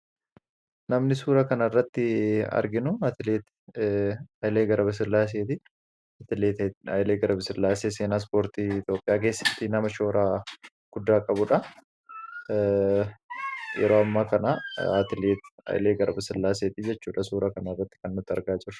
Namni suura kana irratti arginu, atileet Hailee Garbasillaaseeti. Atileet Hailee Garbasillaasee seenaa ispoortii Itoophiyaa keessatti nama shoora guddaa qabudha. Yeroo ammaa kana atileet Hailee Garbasillaaseetii jechuudha suura kana irratti kan argaa jirru.